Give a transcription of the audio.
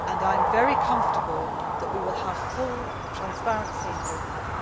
I am very comfortable that we will have full transparency in doing that.